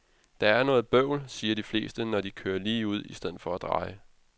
Det er noget bøvl, siger de fleste, når de kører ligeud i stedet for at dreje.